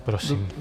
Prosím.